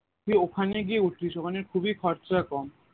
তুই ওখানে গিয়ে উঠিস ওখানে খুবই খরচা কম